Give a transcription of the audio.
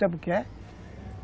Sabe o que é?